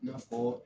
I n'a fɔ